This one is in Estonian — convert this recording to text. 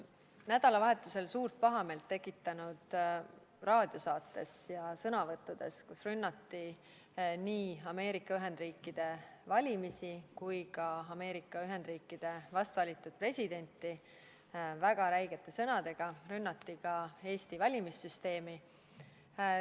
Nädalavahetusel suurt pahameelt tekitanud raadiosaates ja sõnavõttudes, millega rünnati nii Ameerika Ühendriikide valimisi kui ka Ameerika Ühendriikide vast valitud presidenti väga räigete sõnadega, rünnati ka Eesti valimissüsteemi.